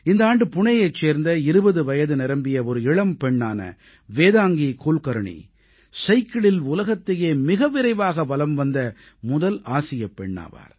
இந்த ஆண்டு புணேயைச் சேர்ந்த 20 வயது நிரம்பிய ஒரு இளம்பெண்ணான வேதாங்கீ குல்கர்ணீ சைக்கிளில் உலகத்தையே மிக விரைவாக வலம் வந்த முதல் ஆசியப் பெண்ணானார்